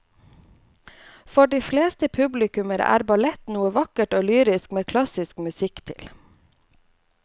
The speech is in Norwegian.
For de fleste publikummere er ballett noe vakkert og lyrisk med klassisk musikk til.